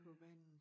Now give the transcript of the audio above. På vandet